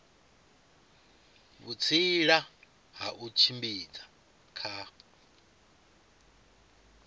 vhutsila ha u tshimbidza kha